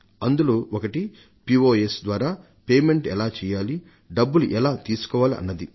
అందులో ఒకటి పోస్ ద్వారా చెల్లింపు ఎలా చేయాలి డబ్బులు ఎలా తీసుకోవాలి అన్నది